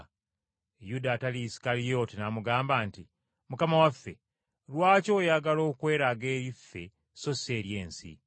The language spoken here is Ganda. Yuda, atali Isukalyoti n’amugamba nti, “Mukama waffe, lwaki oyagala okweraga eri ffe so si eri ensi?”